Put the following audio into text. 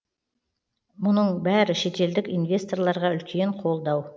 мұның бәрі шетелдік инвесторларға үлкен қолдау